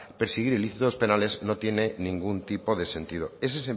perseguir delitos penales no tiene ningún tipo de sentido ese